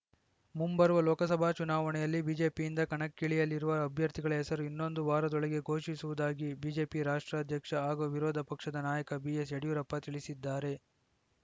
ಮುಂಬರುವ ಲೋಕಸಭಾ ಚುನಾವಣೆಯಲ್ಲಿ ಬಿಜೆಪಿಯಿಂದ ಕಣಕ್ಕಿಳಿಯಲಿರುವ ಅಭ್ಯರ್ಥಿಗಳ ಹೆಸರು ಇನ್ನೊಂದು ವಾರದೊಳಗೆ ಘೋಷಿಸುವುದಾಗಿ ಬಿಜೆಪಿ ರಾಷ್ಟ್ರ ಅಧ್ಯಕ್ಷ ಹಾಗೂ ವಿರೋಧ ಪಕ್ಷದ ನಾಯಕ ಬಿಎಸ್‌ಯಡಿಯೂರಪ್ಪ ತಿಳಿಸಿದ್ದಾರೆ